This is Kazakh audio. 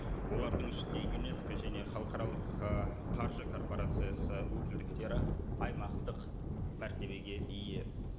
олардың ішінде юнеско және халықаралық ы қаржы корпорациясы өкілдіктері аймақтық мәртебеге ие